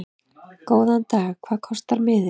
Góðan dag. Hvað kostar miðinn?